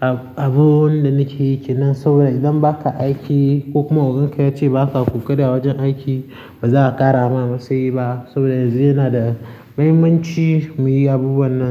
Abubuwan da nake yake nan saboda idan baka aiki ko kuma ogan ka ya ce baka ƙoƙari a wajen aiki, ba za a ƙara ma masayi ba saboda yanzu yana da mahimmanci mu yi abubuwan nan.